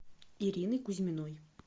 ирины кузьминой